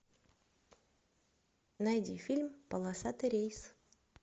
найди фильм полосатый рейс